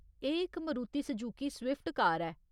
एह् इक Maruti Suzuki Swift car ऐ।